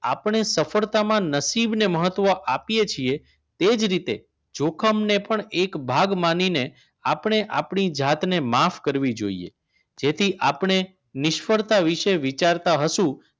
આપણે સફળતામાં નસીબને મહત્વ આપીએ છે તે જ રીતે જોખમને પણ એક ભાગ માનીને આપણે આપણી જાતને માફ કરવી જોઈએ તેથી આપણે નિષ્ફળતા વિશે વિચારતા હસૂ